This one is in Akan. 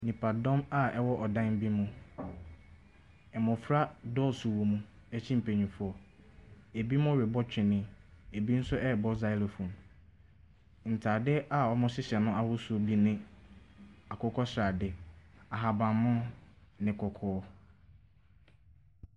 Nnjpadɔm a ɛwɔ ɔdan bi mu, mmɔfra dɔɔ so wɔ mu kyɛn mpanimfoɔ, bi ɛrebɔ twene, bi nso ɛreba xylophone. Ntaade a wɔhyehyɛ no ahosuo bi ne akokɔsrade, ahabanmono, ne kɔkɔɔ.